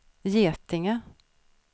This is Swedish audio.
Getinge